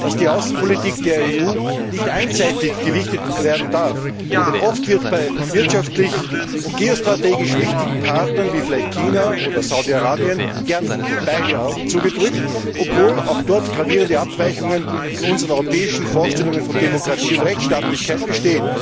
dass die Außenpolitik der EU nicht einseitig gewichtet werden darf, denn oft werden bei wirtschaftlich und geostrategisch wichtigen Partnern wie vielleicht China oder Saudi Arabien gerne beide Augen zugedrückt, obwohl auch dort gravierende Abweichungen von unseren europäischen Vorstellungen von Demokratie und Rechtsstaatlichkeit bestehen.